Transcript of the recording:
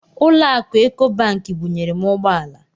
Ụlọ akụ Ekobanki bunyere m ụgbọala.